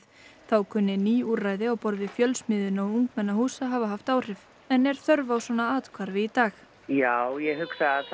þá kunni ný úrræði á borð við Fjölsmiðjuna og ungmennahús að hafa haft áhrif en er þörf á svona athvarfi í dag já ég hugsa að það